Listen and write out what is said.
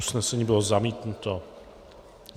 Usnesení bylo zamítnuto.